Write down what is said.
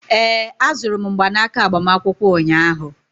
ee, azụrụ m mgbanaka agbamakwụkwọ ụnyahụ